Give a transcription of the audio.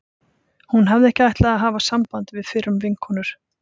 Hún hafði ekki ætlað að hafa samband við fyrrum vinkonur